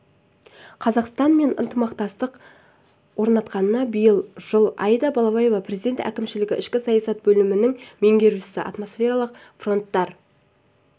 қазақстан мен ынтымақтастық орнатқанына биыл жыл аида балаева президент әкімшілігі ішкі саясат бөлімінің меңгерушісі атмосфералық фронттардың